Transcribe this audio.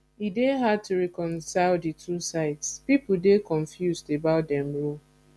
e dey hard to reconcile di two sides pipo dey confused about dem role